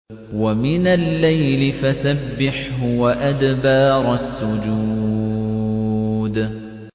وَمِنَ اللَّيْلِ فَسَبِّحْهُ وَأَدْبَارَ السُّجُودِ